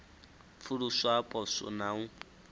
pfuluswa ha poswo na u